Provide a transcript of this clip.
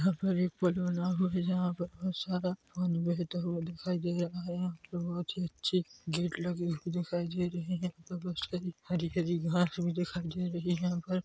यहाँ पर एक पुल बना हुआ है जहाँ पर बहोत सारा पानी बहता हुआ दिखाई दे रहा है यहाँ पर बहुत ही अच्छी गेट लगे हुए दिखाई दे रही है यहाँ बहोत सारी हरी-हरी घास भी दिखाई दे रही है यहाँ पर --